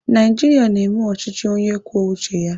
Naijiria na-eme ọchịchị onye kwuo uche ya.